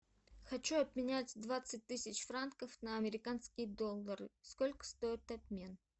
хочу обменять двадцать тысяч франков на американские доллары сколько стоит обмен